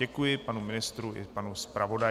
Děkuji panu ministrovi i panu zpravodaji.